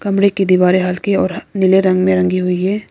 कमरे की दीवारें हल्के और नीले रंग में रंगी हुई है।